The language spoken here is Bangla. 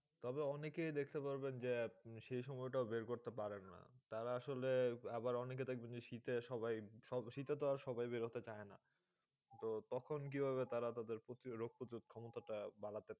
তবে অনেকে দেখতে পারবেন যে, সেই সময় টাও বের করতে পারেন না ।তারা আসলে আবার অনেকে দেখবেন যে, শীতে সবাই শীতে তো আর সবাই বেরোতে চায় না। তো তখন কীভাবে তারা তাদের রোগ পতিরোধ ক্ষমতা টা বাড়াতে?